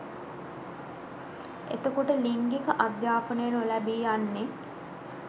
එතකොට ලිංගික අධ්‍යාපනය නොලැබී යන්නෙ